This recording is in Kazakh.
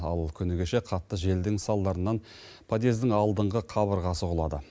ал күні кеше қатты желдің салдарынан подъездің алдыңғы қабырғасы құлады